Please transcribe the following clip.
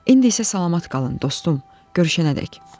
İndi isə salamat qalın, dostum, görüşənədək.